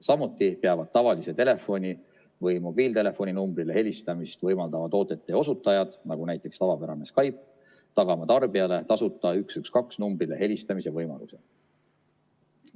Samuti peab tavalise telefoni või mobiiltelefoni numbrile helistamist võimaldavate toodete puhul, näiteks tavapärane Skype, teenuseosutaja tagama tarbijale tasuta 112 numbrile helistamise võimaluse.